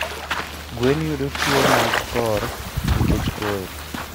Gwen yudo tuoh mag kor nikech koyo